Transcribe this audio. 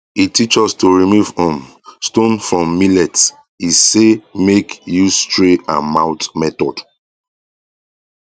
he teach us to remove um stone from millet e say make use tray and mouth method